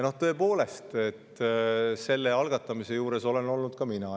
Tõepoolest, selle algatamise juures olen olnud ka mina.